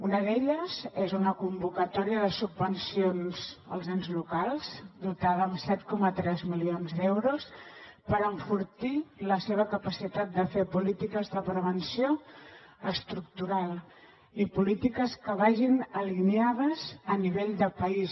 una d’elles és una convocatòria de subvencions als ens locals dotada amb set coma tres milions d’euros per enfortir la seva capacitat de fer polítiques de prevenció estructural i polítiques que vagin alineades a nivell de país